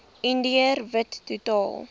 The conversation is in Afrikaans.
indiër wit totaal